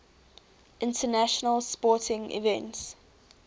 international sporting events